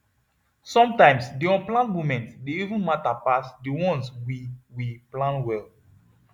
sometimes the unplanned moments dey even matter pass the ones we we plan well